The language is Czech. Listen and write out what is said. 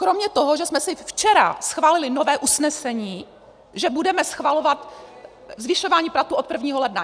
Kromě toho, že jsme si včera schválili nové usnesení, že budeme schvalovat zvyšování platů od 1. ledna.